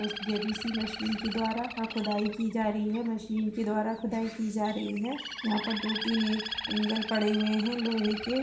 उस JBC. Machine के द्वारा आ खुदाई की जा रही है। मशीन के द्वारा खुदाई की जा रही है। यहाँ पर दो तीन अ एंगल पड़े हुऐ हैं लोहे के।